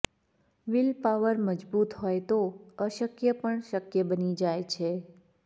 willpower મજબૂત હોય તો અશક્ય પણ શક્ય બની જાય છે